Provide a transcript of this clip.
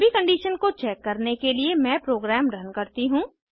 सभी कंडिशन्स को चेक करने के लिए मैं प्रोग्राम रन करती हूँ